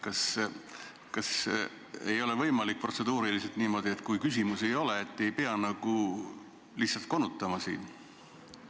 Kas ei ole protseduuriliselt võimalik niimoodi, et kui küsimusi ei ole, siis ei pea lihtsalt siin konutama?